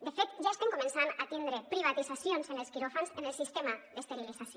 de fet ja estem començant a tindre privatitzacions en els quiròfans en el sistema d’esterilització